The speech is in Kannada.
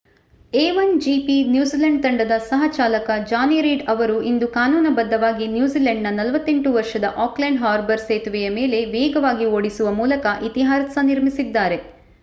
a1gp ನ್ಯೂಜಿಲೆಂಡ್ ತಂಡದ ಸಹ-ಚಾಲಕ ಜಾನಿ ರೀಡ್ ಅವರು ಇಂದು ಕಾನೂನುಬದ್ಧವಾಗಿ ನ್ಯೂಜಿಲೆಂಡ್‌ನ 48 ವರ್ಷದ ಆಕ್ಲೆಂಡ್ ಹಾರ್ಬರ್ ಸೇತುವೆಯ ಮೇಲೆ ವೇಗವಾಗಿ ಓಡಿಸುವ ಮೂಲಕ ಇತಿಹಾಸ ನಿರ್ಮಿಸಿದ್ದಾರೆ